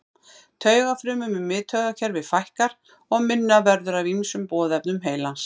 Taugafrumum í miðtaugakerfi fækkar og minna verður af ýmsum boðefnum heilans.